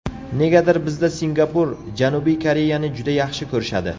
Negadir bizda Singapur, Janubiy Koreyani juda yaxshi ko‘rishadi.